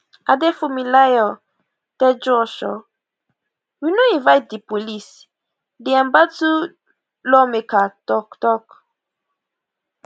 adefunmilayo tejuosho we no invite di police di embattled lawmaker tok tok